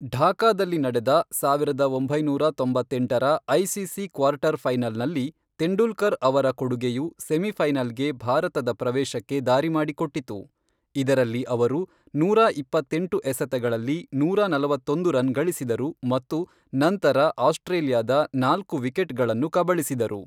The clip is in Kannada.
ಢಾಕಾದಲ್ಲಿ ನಡೆದ ಸಾವಿರದ ಒಂಬೈನೂರ ತೊಂಬತ್ತೆಂಟರ ಐಸಿಸಿ ಕ್ವಾರ್ಟರ್ ಫೈನಲ್‌ನಲ್ಲಿ‌, ತೆಂಡೂಲ್ಕರ್ ಅವರ ಕೊಡುಗೆಯು ಸೆಮಿಫೈನಲ್‌ಗೆ ಭಾರತದ ಪ್ರವೇಶಕ್ಕೆ ದಾರಿ ಮಾಡಿಕೊಟ್ಟಿತು, ಇದರಲ್ಲಿ ಅವರು ನೂರಾ ಇಪ್ಪತ್ತೆಂಟು ಎಸೆತಗಳಲ್ಲಿ ನೂರಾ ನಲವತ್ತೊಂದು ರನ್ ಗಳಿಸಿದರು ಮತ್ತು ನಂತರ ಆಸ್ಟ್ರೇಲಿಯಾದ ನಾಲ್ಕು ವಿಕೆಟ್‌ಗಳನ್ನು ಕಬಳಿಸಿದರು.